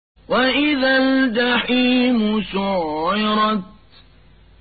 وَإِذَا الْجَحِيمُ سُعِّرَتْ